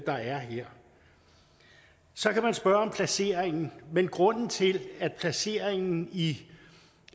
er her så kan man spørge om placeringen grunden til at placeringen i